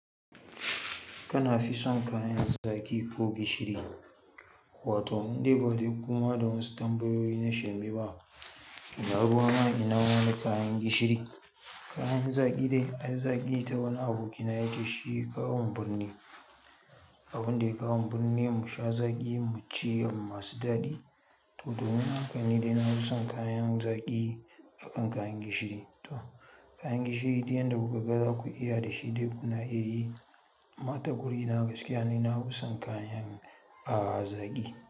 Kana fi son kayan zaƙi ko gishiri? Wato nidai badai kun haɗa wasu tambayoyi na shirmeba ina ruwana ina wani kayan gishiri kayan zaƙi dai, ai zaki ta wani abokina ya ce shiya kawomu birni. Abun dai kawomu birni mu sha zaƙi mu ci abun masu daɗi. To domin haka ne dai na fi son kayan zaƙi akan kayan gishiri. To kayan gishiri dai yanda kuka ga za ku iya da shi dai kuna iya yi. Amma ta guri na gaskiya ne, na fi son kayan a zaƙi.